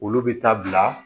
Olu bɛ taa bila